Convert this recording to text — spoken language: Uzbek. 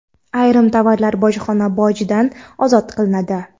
Ayrim tovarlar bojxona bojidan ozod qilinadi.